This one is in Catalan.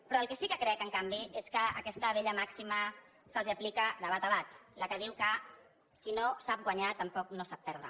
però el que sí que crec en canvi és que aquesta vella màxima se’ls aplica de bat a bat la que diu que qui no sap guanyar tampoc no sap perdre